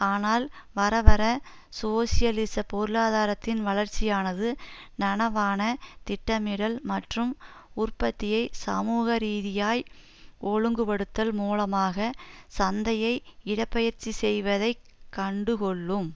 ஆனால் வரவர சோசியலிச பொருளாதாரத்தின் வளர்ச்சியானது நனவான திட்டமிடல் மற்றும் உற்பத்தியை சமூக ரீதியாய் ஒழுங்குபடுத்தல் மூலமாக சந்தையை இடப் பெயர்ச்சி செய்வதை கண்டுகொள்ளும்